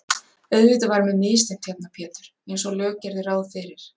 Auðvitað var mér misþyrmt hérna Pétur einsog lög gerðu ráð fyrir.